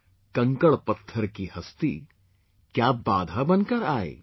KANKADPATHAR KI HASTI, KYA BADHA BANKAR AAYE